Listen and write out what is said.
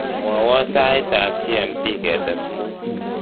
mwowon sait ab g.m.t getes muut